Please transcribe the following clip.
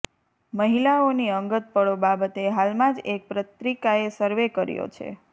મહિલાઓની અંગતપળો બાબતે હાલમાં જ એક પત્રિકાએ સર્વે કર્યો છે